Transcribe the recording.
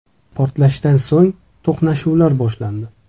Portlashdan so‘ng to‘qnashuvlar boshlandi.